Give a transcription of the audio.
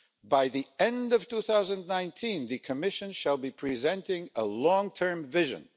By the end of 2019, the Commission shall be presenting a long-term vision.